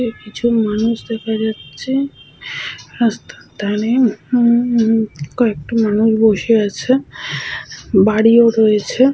কিছু মানুষ দেখা যাচ্ছে রাস্তার ধারে উম উম কয়েকটি মানুষ বসে আছে বাড়িও রয়েছে।